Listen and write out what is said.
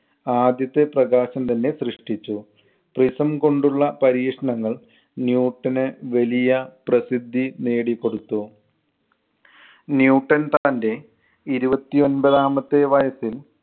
ആദ്യത്തെ പ്രകാശം തന്നെ സൃഷ്ടിച്ചു. prism കൊണ്ടുള്ള പരീക്ഷണങ്ങൾ ന്യൂട്ടന് വലിയ പ്രസിദ്ധി നേടിക്കൊടുത്തു. ന്യൂട്ടൻ തന്‍റെ ഇരുപത്തി ഒൻപതാമത്തെ വയസ്സിൽ